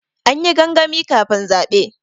An yi gangami kafin zaɓe.